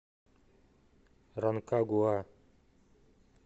ранкагуа